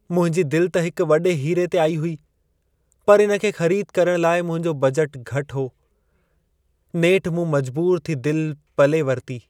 मुंहिंजी दिलि त हिक वॾे हीरे ते आई हुई, पर इन खे ख़रीद करण लाइ मुंहिंजो बजट घटि हो। नेठि मूं मजबूरु थी दिलि पले वरिती।